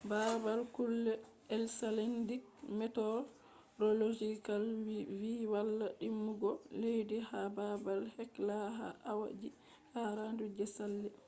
babal kugal icelandic meteorological vi walla dimbugo leddi ha babal hekla ha awa ji 48 je sali